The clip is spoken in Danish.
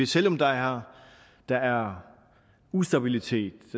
selv om der er der er ustabilitet